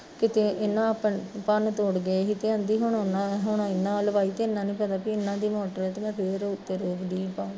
ਕਿਤੇ ਇਨਾ ਭੰਨ ਤੋੜ ਗਏ ਸੀ ਤੇ ਕਹਿੰਦੀ ਹੁਣ ਉਨਾਂ ਏਨਾਂ ਵੱਲ ਪਾਈ ਵੀ ਏਹਨਾ ਦੀ ਮੋਟਰ ਐ ਤੇ ਮੈਂ ਫਿਰ ਰੋਕਦੀ ਆ ਉੱਤੇ ਪਾਉਣ